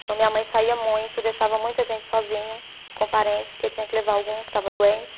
Então, minha mãe saía muito, deixava muito a gente sozinho, com parentes, porque tinha que levar algum que estava doente.